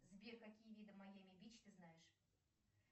сбер какие виды майами бич ты знаешь